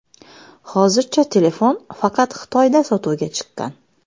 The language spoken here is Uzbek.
Hozircha telefon faqat Xitoyda sotuvga chiqqan.